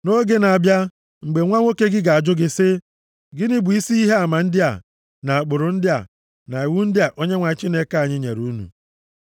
Nʼoge na-abịa, mgbe nwa nwoke gị ga-ajụ gị sị, “Gịnị bụ isi ihe ama ndị a, na ụkpụrụ ndị a, na iwu ndị a Onyenwe anyị Chineke anyị nyere unu?”